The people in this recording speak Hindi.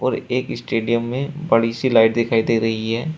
र एक स्टेडियम में बड़ी सी लाइट दिखाई दे रही है।